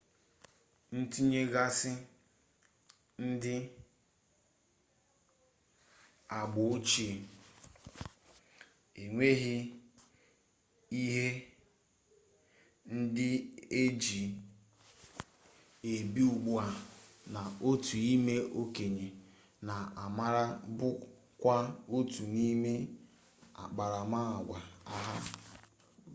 ntinyegasi ndi agba-ochie enweghi ihe ndi eji ebi ugbua na otu ime-okenye na amara bu kwa otu nime akparama-agwa ha